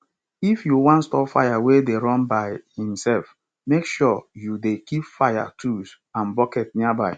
if you wan stop fire wey dey run by himself make sure you dey keep fire tools and bucket nearby